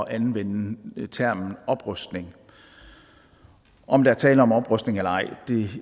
at anvende termen oprustning om der er tale om oprustning eller ej